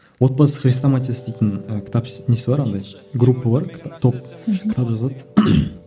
отбасы хрестоматиясы дейтін і кітап несі бар андай группа бар топ кітап жазады